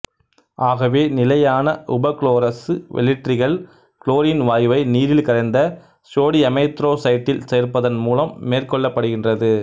ஆகவே நிலையான உபகுளோரசு வெளிற்றிகள் குளோரின் வாயுவை நீரில் கரைந்த சோடியமைதரொட்சைட்டில் சேர்ப்பதன் மூலம் மேற்கொள்ளப்படுகின்றது